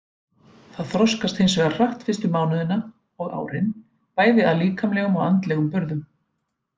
Það þroskast hins vegar hratt fyrstu mánuðina og árin bæði að líkamlegum og andlegum burðum.